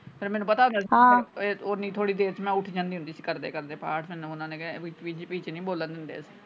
ਫੇਰ ਮੈਨੂੰ ਪਤਾ ਹੁੰਦਾ ਹਾਂ ਓਨੀ ਥੋੜੀ ਦੇਰ ਮੈਂ ਉੱਠ ਜਾਂਦੀ ਹੁੰਦੀਂ ਕਰਦੇ ਕਰਦੇ ਪਾਠ ਮੈਨੂੰ ਓਹਨਾ ਦੇ ਵਿੱਚ ਨਹੀਂ ਬੋਲਣ ਦਿੰਦੇ।